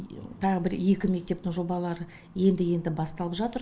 тағы бір екі мектептің жобалары енді енді басталып жатыр